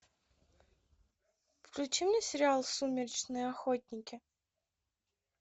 включи мне сериал сумеречные охотники